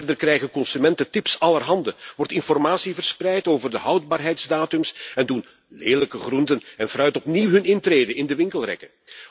Verder krijgen consumenten allerhande tips, wordt informatie verspreid over de houdbaarheidsdatums en doen lelijke groenten en fruit opnieuw hun intrede in de winkelrekken.